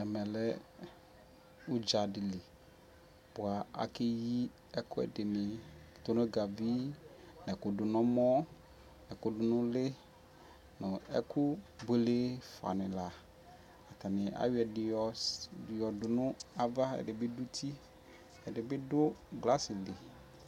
ɛmɛ lɛ ʋdza dili kʋ akɛyi ɛkʋɛdini, tunʋgavi nʋɛkʋdʋnʋ ʋmɔ, ɛkʋ dʋnʋ ʋli, nʋ ɛkʋ bʋɛlɛ ƒa ni la, atani ayɔ ɛdi yɔ dʋnʋ aɣa ɛdibi dʋ ʋti, ɛdibidʋ glass li